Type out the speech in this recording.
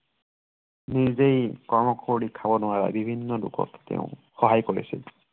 নিজেই কৰ্ম কৰি খাব নোৱাৰা বিভিন্ন লোকক তেওঁ সহায় কৰিছিল।